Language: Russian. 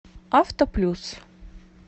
автоплюс